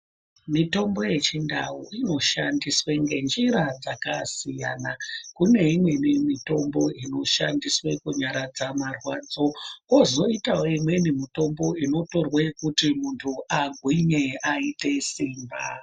Mitombo yechindau inoshandiswa ngenjira dzakasiyana. Kune imweni mitombo inoshandiswa kunyaradza marwadzo kwozoita imweni mitombo inotorwa kuti muntu agwinye aite simba.